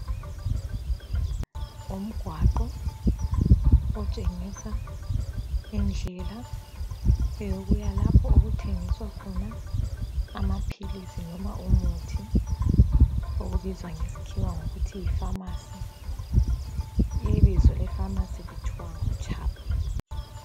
Umgwaqo otshengisa indlela eyokuya lapho okuthengiswa khona amaphilisi noma umuthi okubizwa ngesikhiwa ngokuthi yi pharmacy. Ibizo lepharmacy lithiwa nguCHUB.